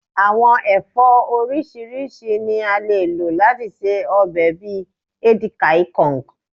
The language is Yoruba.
awọn ẹfọ oriṣiriṣi ni à le lò lati ṣe òbe bi edikia ikong